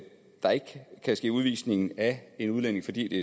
der ikke kan ske udvisning af en udlænding fordi det